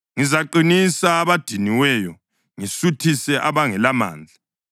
Ngizaqinisa abadiniweyo ngisuthise abangelamandla.”